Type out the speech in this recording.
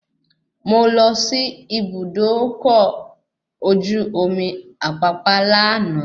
Mo lọ sí ibùdó ọkọ̀ ojú omi Apapa lànà